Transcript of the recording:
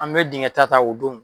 An bɛ dingɛ ta ta o don